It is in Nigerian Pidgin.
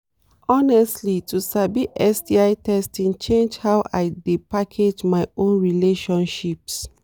honestly to sabi sti testing change how i dey package my own relationships